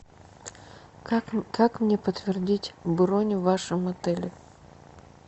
как мне подтвердить бронь в вашем отеле